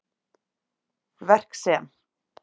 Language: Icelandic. Verk sem